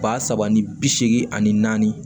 Ba saba ni bi seegin ani naani